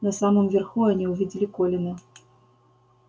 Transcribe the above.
на самом верху они увидели колина